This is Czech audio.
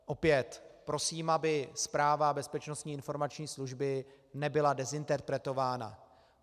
Opět prosím, aby zpráva Bezpečnostní informační služby nebyla dezinterpretována.